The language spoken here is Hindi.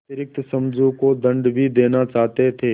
अतिरिक्त समझू को दंड भी देना चाहते थे